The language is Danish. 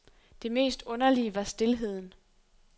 Det mest underlige var stilheden.